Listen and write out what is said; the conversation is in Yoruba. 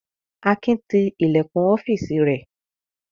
Akin ti ilẹ̀kùn ọ́fíísì rẹ̀?